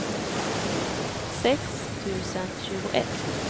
sex tusen tjugoett